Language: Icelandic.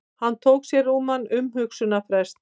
Hann tók sér rúman umhugsunarfrest.